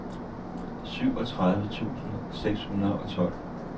syvogtredive tusind seks hundrede og tolv